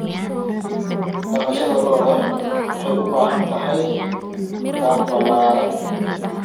Dhaqashada lo'da lo'da waxay u baahan tahay daaq ballaaran.